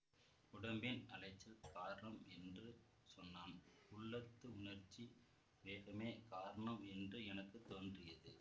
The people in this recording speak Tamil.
உடம்பின் அலைச்சல் காரணம் என்று சொன்னான் உள்ளத்து உணர்ச்சி வேகமே காரணம் என்று எனக்கு தோன்றியது